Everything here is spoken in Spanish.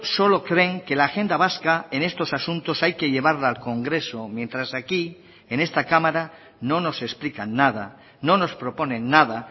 solo creen que la agenda vasca en estos asuntos hay que llevarla al congreso mientras aquí en esta cámara no nos explican nada no nos proponen nada